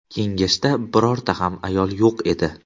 Kengashda birorta ham ayol yo‘q edi.